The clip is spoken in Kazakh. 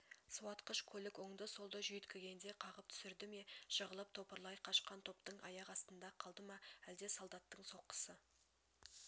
суатқыш көлік оңды-солды жүйіткігенде қағып түсірді ме жығылып топырлай қашқан топтың аяқ астында қалды ма әлде солдаттың соққысы